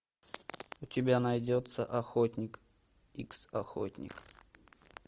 у тебя найдется охотник икс охотник